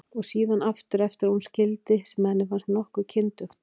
Og síðan aftur eftir að hún skildi, sem henni fannst nokkuð kyndugt.